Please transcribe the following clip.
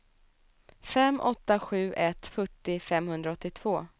fem åtta sju ett fyrtio femhundraåttiotvå